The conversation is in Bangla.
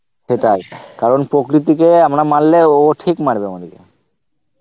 সেটাই কারণ প্রকৃতিকে আমরা মারলে ও ঠিক মারবে আমাদেরকে